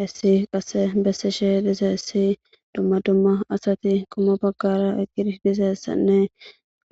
Hessi qassi besishe dizzayssi dumma dumma asati qomo bagara eqidi dizayssanne